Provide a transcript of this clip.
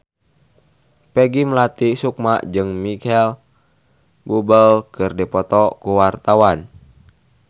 Peggy Melati Sukma jeung Micheal Bubble keur dipoto ku wartawan